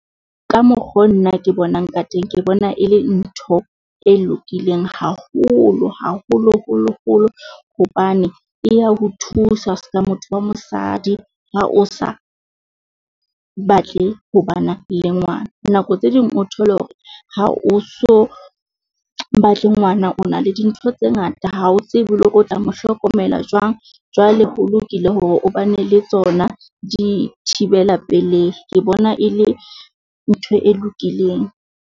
Ka mokgo nna ke bonang ka teng, ke bona e le ntho e lokileng haholo haholoholo holo, hobane e ya ho thusa ska motho wa mosadi ha o sa batle ho bana le ngwana. Nako tse ding o thole hore ha o so batle ngwana o na le dintho tse ngata ha o tsebe le hore o tla mo hlokomela jwang. Jwale ho lokile hore o ba ne le tsona dithibela pelehi. Ke bona e le ntho e lokileng.